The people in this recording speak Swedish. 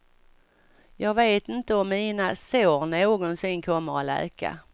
Jag vet inte om mina sår någonsin kommer att läka.